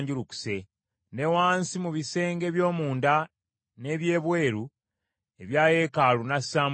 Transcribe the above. Ne wansi mu bisenge eby’omunda n’eby’ebweru ebya yeekaalu n’assaamu zaabu.